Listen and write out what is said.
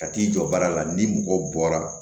Ka t'i jɔ baara la ni mɔgɔ bɔra